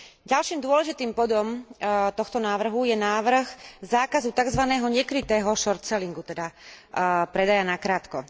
Ďalším dôležitým bodom tohto návrhu je návrh zákazu takzvaného nekrytého shortsellingu, teda predaja nakrátko.